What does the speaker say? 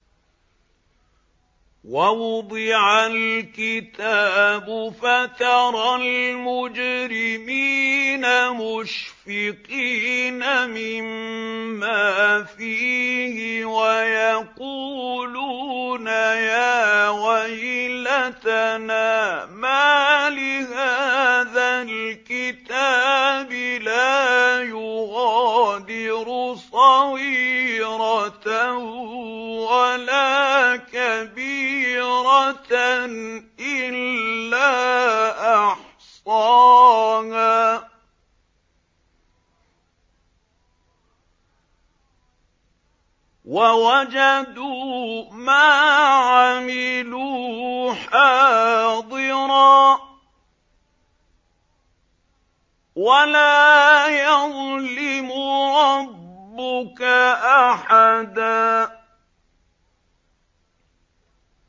وَوُضِعَ الْكِتَابُ فَتَرَى الْمُجْرِمِينَ مُشْفِقِينَ مِمَّا فِيهِ وَيَقُولُونَ يَا وَيْلَتَنَا مَالِ هَٰذَا الْكِتَابِ لَا يُغَادِرُ صَغِيرَةً وَلَا كَبِيرَةً إِلَّا أَحْصَاهَا ۚ وَوَجَدُوا مَا عَمِلُوا حَاضِرًا ۗ وَلَا يَظْلِمُ رَبُّكَ أَحَدًا